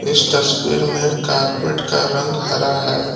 इस तस्वीर में कारपेट का रंग हरा है।